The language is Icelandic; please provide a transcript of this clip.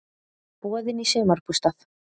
Boðin í sumarbústað!